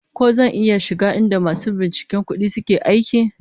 Ko zan iya shiga inda masu binciken kudi suke aiki?